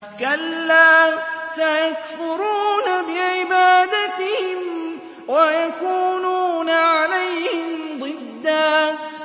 كَلَّا ۚ سَيَكْفُرُونَ بِعِبَادَتِهِمْ وَيَكُونُونَ عَلَيْهِمْ ضِدًّا